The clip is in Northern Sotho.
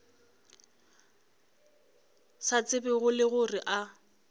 sa tsebego le gore a